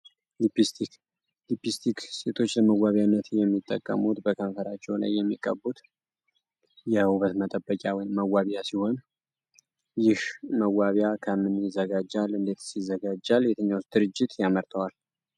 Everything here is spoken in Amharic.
ሊፒስቲክ ሊፒስቲክ ሴቶች ለመዋቢያነት የሚጠቀሙት በከንፈራቸው ላይ የሚቀቡት የውበት መጠበቂያ ወይም መዋቢያ ሲሆን ይህ መዋቢያ ከምን ይዘጋጃል እንዴትስ ይዘጋጃል የትኛው ድርጅትስ ያመርተዋል?